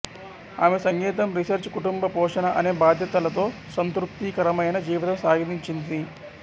ఆమె సంగీతం రీసెర్చ్ కుటుంబపోషణ అనే బాధ్యతలతో సంతృప్తికరమైన జీవితం సాగించింది